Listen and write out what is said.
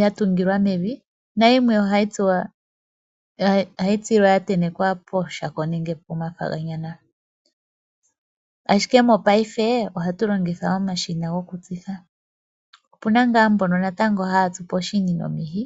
ya tungilwa mevi na yimwe ohayi tsilwa ya tentekwa pooshako nenge poothayila. Ashike mopaife ohatu longitha omashina gokutsitha, opu na ngaa mbono natango haya tsu poshini nomihi.